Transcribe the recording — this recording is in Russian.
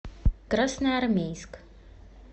красноармейск